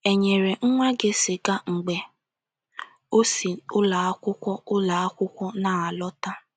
▸ E nyere nwa gị sịga mgbe o si ụlọ akwụkwọ ụlọ akwụkwọ na - alọta.